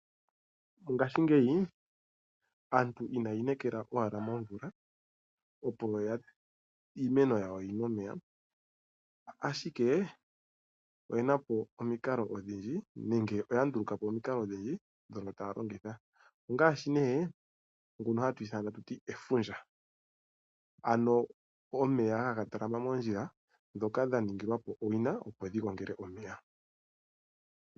Aantu oya ndulu kapo omikalo odhindji dhoku longitha oku me neka iimeno yawo, inaya inekela ashike momvula. Dhimwe dhomomikalo dhoka ya ndulukapo ongashi efundja ndyoka omeya ha ga talama moondjila ndhoka dha ningi lwapo owina opo dhigo ngele omeya.